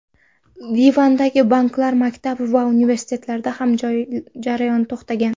Livandagi banklar, maktab va universitetlarda ham jarayon to‘xtagan.